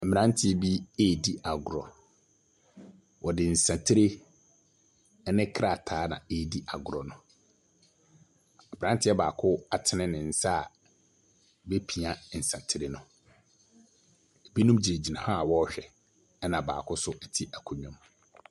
Mmaranteɛ bi redi agorɔ. Wɔde nsɛtere ɛne krataa na edi agorɔ no. abranteɛ baako atene ne nsa a bepia nsatere no. ebinom gyinagyina hɔ a ɔrehwɛ ɛna baako nso ɛte akonwa mu.